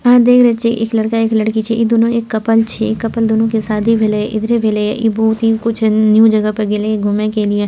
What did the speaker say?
आहाँ देख रहल छीये एक लड़का एक लड़की छै इ दूनू एक कपल छीये इ कपल दूनू के शादी भेले इधरे भेले इ बहुत ही न्यू जगह में गइले घूमने के लिए।